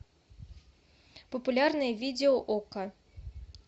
популярное видео окко